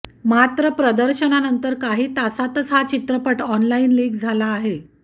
मात्र प्रदर्शनानंतर काही तासांतच हा चित्रपट ऑनलाईन लीक झाला आहे